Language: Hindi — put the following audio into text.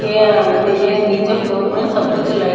ये आ ये नीचे फ्लोर में सब कुछ लाइट --